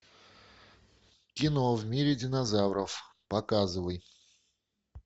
кино в мире динозавров показывай